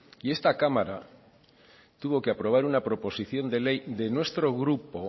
y esta cámara tuvo que aprobar una proposición de ley de nuestro grupo